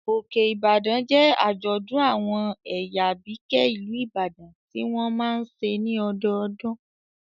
Òkè-Ìbàdàn jẹ́ àjọ̀dún àwọn ẹ̀yà Àbíkẹ́ ìlú Ìbàdàn tí wọ́n máa n ṣe ní ọdọdún